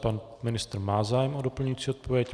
Pan ministr má zájem o doplňující odpověď.